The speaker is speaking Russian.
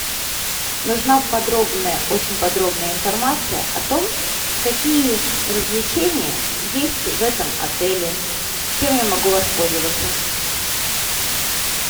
нужна подробная очень подробная информация о том какие развлечения есть в этом отеле чем я могу воспользоваться